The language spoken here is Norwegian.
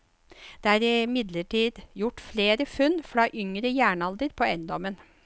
Det er imidlertid gjort flere funn fra yngre jernalder på eiendommen.